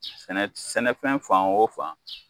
Sɛnɛfɛn fan o fan